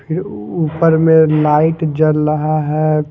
हे ऊपर में लाइट जल रहा है।